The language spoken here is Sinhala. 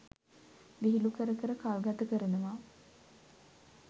විහිළු කර කර කල්ගත කරනවා.